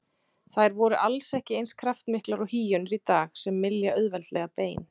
Þær voru alls ekki eins kraftmiklar og hýenur í dag sem mylja auðveldlega bein.